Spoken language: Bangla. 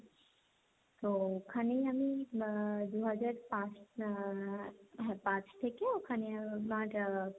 তো ওখানেই আমি আহ দুহাজার পাঁচ আহ পাঁচ থেকে ওখানে আমার আহ